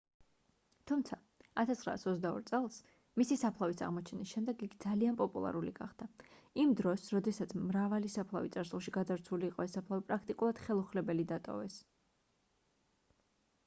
თუმცა 1922 წელს მისი საფლავის აღმოჩენის შემდეგ იგი ძალიან პოპულარული გახდა იმ დროს როდესაც მრავალი საფლავი წარსულში გაძარცვული იყო ეს საფლავი პრაქტიკულად ხელუხლებელი დატოვეს